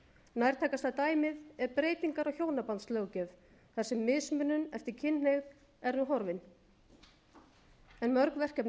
nærtækasta dæmið er breytingar á hjónabandslöggjöf þar se mismunun eftir kynhneigð er nú horfin en mörg verkefni